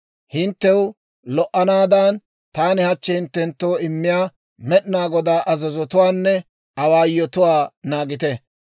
Hinttew lo"anaadan, taani hachchi hinttenttoo immiyaa Med'inaa Godaa azazotuwaanne awaayotuwaa naagite.